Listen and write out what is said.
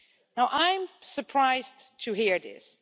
Now, I'm surprised to hear this.